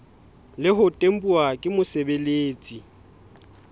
le ho tempuwa ke mosebeletsi